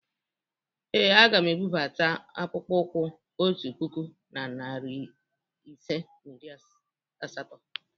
Ee, aga m ebubata akpụkpọ ụkwụ otu puku na narị ise na iri asatọ.